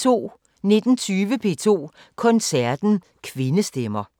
19:20: P2 Koncerten: Kvindestemmer